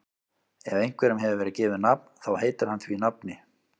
Ef einhverjum hefur verið gefið nafn þá heitir hann því nafni.